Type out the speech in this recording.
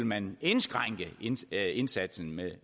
man vil indskrænke indsatsen med